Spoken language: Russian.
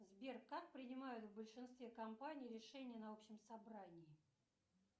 сбер как принимают в большинстве компаний решение на общем собрании